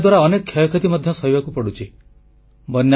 ବନ୍ୟାଦ୍ୱାରା ଅନେକ କ୍ଷୟକ୍ଷତି ମଧ୍ୟ ସହିବାକୁ ପଡ଼ୁଛି